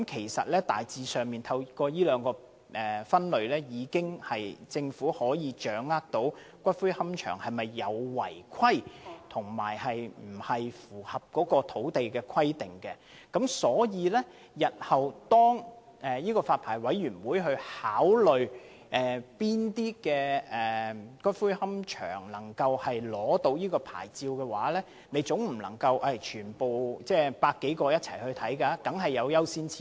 事實上，當局透過這兩個類別，已大致掌握個別私營龕場是否有違規情況，或是否符合土地使用規定等，而日後當發牌委員會考慮向哪些龕場發出牌照時，總不可能全部100多個龕場一次過進行檢視，一定要訂出優先次序。